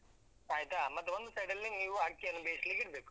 ಆಯ್ತಾ. ಮತ್ತೆ ಒಂದ್ side ಅಲ್ಲಿ ನೀವು ಅಕ್ಕಿಯನ್ನು ಬೇಯಿಸ್ಲಿಕ್ಕಿಡ್ಬೇಕು.